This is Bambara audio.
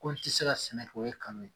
Ko n ti se ka sɛnɛ kɛ ye kalon ye